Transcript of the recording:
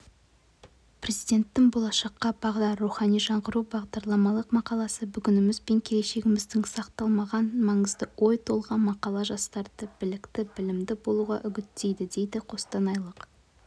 президенттің болашаққа бағдар рухани жаңғыру бағдарламалық мақаласы бүгініміз бен келешегімізді салмақтаған маңызды ой-толғам мақала жастарды білікті білімді болуға үгіттейді дейді қостанайлық